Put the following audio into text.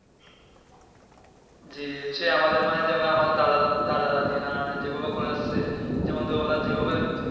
জি যে আমাদের মানে দাদা দাদীরা যেগুলো করে আসছে যেমন ধরো ওরা যে ভাবে